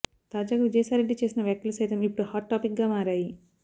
తాజాగా విజయ సాయిరెడ్డి చేసిన వ్యాఖ్యలు సైతం ఇప్పుడు హాట్ టాపిక్ గా మారాయి